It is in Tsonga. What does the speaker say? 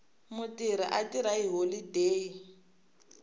mutirhi a tirha hi holodeyi